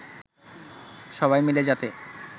সবাই মিলে যাতে